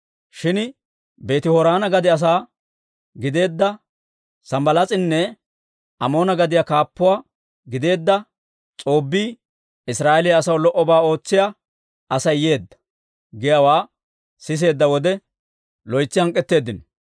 Shin Beeti-Horoona gade asaa gideedda Sanbbalaas'inne Amoona gadiyaa kaappuwaa gideedda S'oobbii, «Israa'eeliyaa asaw lo"obaa ootsiyaa Asay yeedda» giyaawaa siseedda wode, loytsi hank'k'eteeddino.